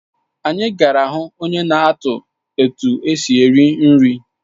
Anyị gara ịhụ onye na-atụ etu esi eri nri